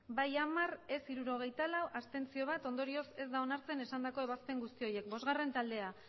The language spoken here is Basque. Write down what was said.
bai hamar ez hirurogeita lau abstentzioak bat ondorioz ez da onartzen esandako ebazpen guzti horiek bosgarren taldea